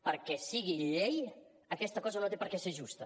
perquè sigui llei aquesta cosa no té per què ser justa